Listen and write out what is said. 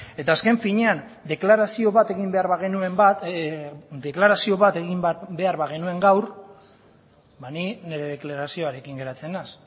eta azken finean deklarazio bat egin behar bagenuen gaur ba ni nire deklarazioarekin geratzen naiz